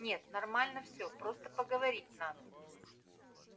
нет нормально все просто поговорить надо